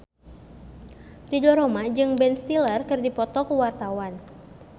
Ridho Roma jeung Ben Stiller keur dipoto ku wartawan